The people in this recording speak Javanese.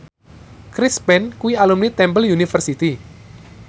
Chris Pane kuwi alumni Temple University